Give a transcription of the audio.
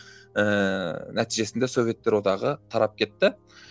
ііі нәтижесінде советтер одағы тарап кетті